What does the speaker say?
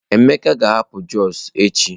Emeka ga-ahapụ Jos echi.